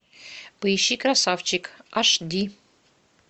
поищи красавчик аш ди